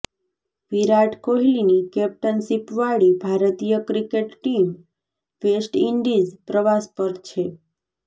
વિરાટ કોહલીની કેપ્ટનશિપવાળી ભારતીય ક્રિકેટ ટીમ વેસ્ટઇન્ડીઝ પ્રવાસ પર છે